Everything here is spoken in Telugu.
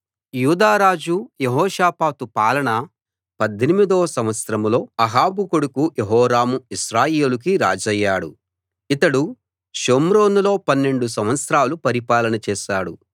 యూదా రాజు యెహోషాపాతు పాలన పద్దెనిమిదో సంవత్సరంలో అహాబు కొడుకు యెహోరాము ఇశ్రాయేలుకి రాజయ్యాడు ఇతడు షోమ్రోనులో పన్నెండు సంవత్సరాలు పరిపాలన చేశాడు